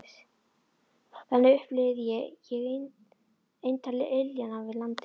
Þannig upplifði ég eintal iljanna við landið.